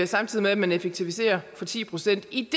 samtidig med at man effektiviserer ti procent i